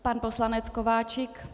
Pan poslanec Kováčik.